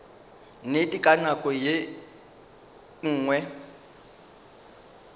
nnete ka nako ye nngwe